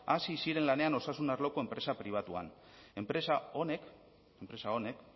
hasi ziren lanean osasun arloko enpresa pribatuan enpresa honek